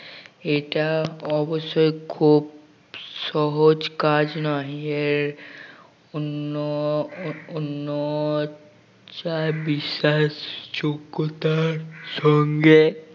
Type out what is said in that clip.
এটা অবশ্যই খুব সহজ কাজ নয় আর অন্য অন্য চায় বিশ্বাস যোগ্যতার সঙ্গে